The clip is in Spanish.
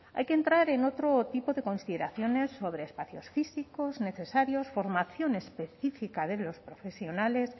hay que entrar en otro tipo de consideraciones sobre espacios físicos necesarios formación específica de los profesionales